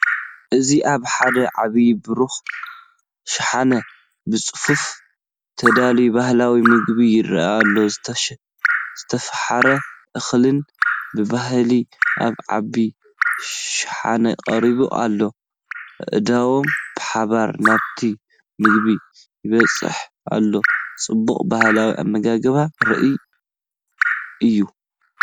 እዚ ኣብ ሓደ ዓቢ ብሩር ሻሓነ ብጽፉፍ ተዳልዩ ባህላዊ መግቢ ይረአ ኣሎ። ዝተፈሓረ እኽልን ብባህሊ ኣብ ዓቢ ሸሓነ ቀሪቡ ኣሎ። ኣእዳው ብሓባር ናብቲ መግቢ ይበጽሑ ኣለዉ፣ ጽባቐ ባህላዊ ኣመጋግባ ርኡይ እዩ።